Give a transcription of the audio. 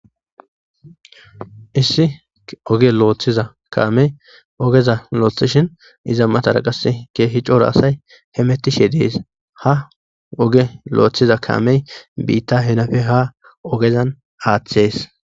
Issi oge looththiza kaamey ogeza looththishin iza matara qass keehi cora asay he metishe dees ha oge loothiza kaamey biitta henafe ha ogezan aaththees